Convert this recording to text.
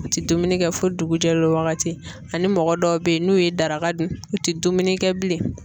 U tɛ dumuni kɛ fo dugujɛ wagati ani mɔgɔ dɔw bɛ ye n'u ye daraka dun u tɛ dumuni kɛ bilen.